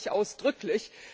Das teile ich ausdrücklich.